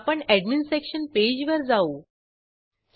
येथे visitors home page ची link बघू शकतो